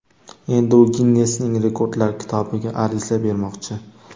Endi u Ginnesning Rekordlar kitobiga ariza bermoqchi.